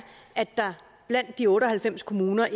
at der blandt de otte og halvfems kommuner